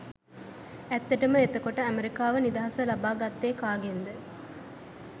ඇත්තටම එතකොට ඇමරිකාව නිදහස ලබා ගත්තේ කාගෙන්ද?